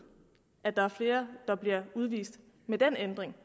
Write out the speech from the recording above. at der er flere der bliver udvist med den ændring